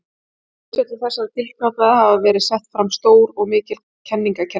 Á grundvelli þessara tilgátna hafa verið sett fram stór og mikil kenningakerfi.